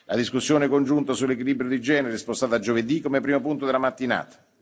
La discussione congiunta sull'Equilibrio di genere è spostata a giovedì, come primo punto della mattinata.